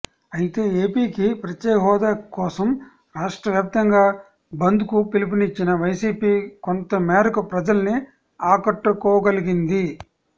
అయితే ఏపీకి ప్రత్యేకహోదా కోసం రాష్ట్రవ్యాప్తంగా బంద్కు పిలుపునిచ్చిన వైసీపీ కొంతమేరకు ప్రజల్ని ఆకట్టుకోగలిగింది